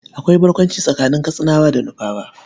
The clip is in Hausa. Akwai barkwanci tsakanin Katsinawa da Nufawa.